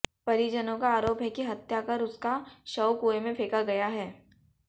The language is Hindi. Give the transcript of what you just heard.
परिजनों का आरोप है कि हत्या कर उसका शव कुएं में फेंका गया है